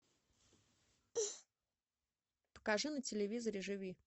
покажи на телевизоре живи